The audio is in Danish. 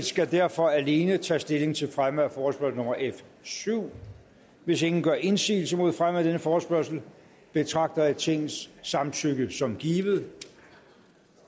skal derfor alene tage stilling til fremme af forespørgsel nummer f syvende hvis ingen gør indsigelse mod fremme af denne forespørgsel betragter jeg tingets samtykke som givet